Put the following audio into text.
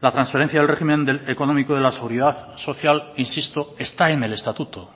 la transferencia del régimen económico de la seguridad social insisto está en el estatuto